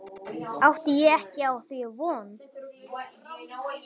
Átti ég ekki á því von.